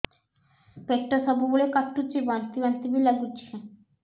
ପେଟ ସବୁବେଳେ କାଟୁଚି ବାନ୍ତି ବାନ୍ତି ବି ଲାଗୁଛି